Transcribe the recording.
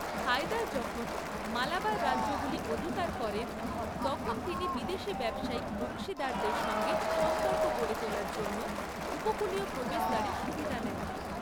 হায়দার যখন মালাবার রাজ্যগুলি অধিকার করেন, তখন তিনি বিদেশী ব্যবসায়িক অংশীদারদের সঙ্গে সম্পর্ক গড়ে তোলার জন্য উপকূলীয় প্রবেশদ্বারের সুবিধা নেন।